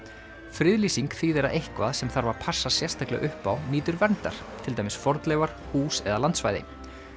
friðlýsing þýðir að eitthvað sem þarf að passa sérstaklega upp á nýtur verndar til dæmis fornleifar hús eða landsvæði